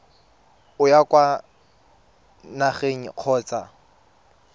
o ya kwa nageng kgotsa